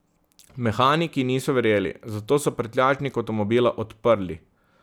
Mehaniki ji niso verjeli, zato so prtljažnik avtomobila odprli.